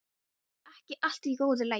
Er ekki allt í góðu lagi?